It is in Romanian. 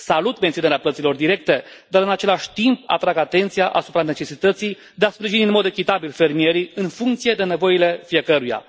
Salut menținerea plăților directe, dar, în același timp, atrag atenția asupra necesității de a sprijini în mod echitabil fermierii în funcție de nevoile fiecăruia.